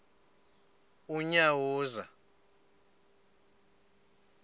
unyawuza